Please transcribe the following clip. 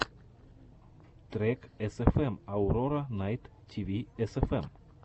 трек эсэфэм аурора найт тиви эсэфэм